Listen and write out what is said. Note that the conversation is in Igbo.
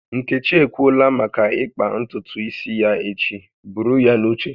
Nkechi ekwuola maka ịkpa ntutu isi ya echi, buru ya n'uche